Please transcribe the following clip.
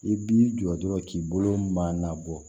I b'i jɔ dɔrɔn k'i bolo man labɔ